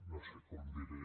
no sé com ho diré